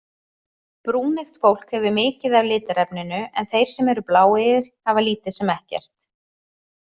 Brúneygt fólk hefur mikið af litarefninu en þeir sem eru bláeygir hafa lítið sem ekkert.